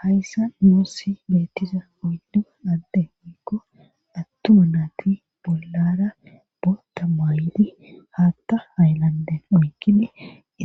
Hayssa nuussi beettiza oydi adde mikko attuu naati bollara boota maayli haatta hayllande oykili